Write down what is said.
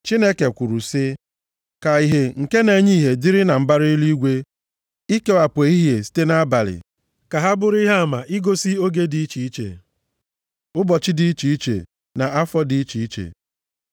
Chineke kwuru sị, “Ka ìhè nke na-enye ìhè dịrị na mbara eluigwe, ikewapụ ehihie site nʼabalị. Ka ha bụrụ ihe ama igosi oge dị iche iche, ụbọchị dị iche iche, na afọ dị iche iche.